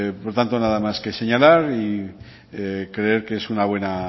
por lo tanto nada más que señalar y creer que es una buena